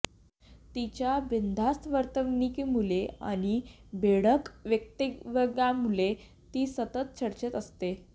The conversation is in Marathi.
तिच्या बिनधास्त वर्तवणूकीमुळे आणि बेधडक वक्तव्यांमुळे ती सतत चर्चेत असते